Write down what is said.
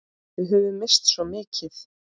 Við höfum misst svo mikið.